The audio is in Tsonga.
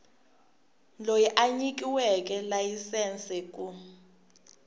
loyi a nyikiweke layisense ku